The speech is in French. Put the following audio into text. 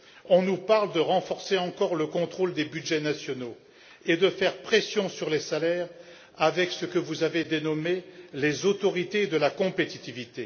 On nous parle de renforcer encore le contrôle des budgets nationaux et de faire pression sur les salaires avec ce que vous avez dénommé les autorités de la compétitivité.